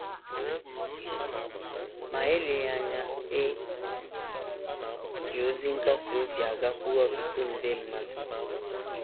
Ma eleghị anya, e ji ozi nkasi obi a gakwuru ọtụtụ nde mmadụ.